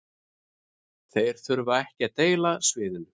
Þeir þurfa ekki að deila sviðinu